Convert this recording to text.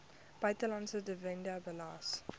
buitelandse dividend belas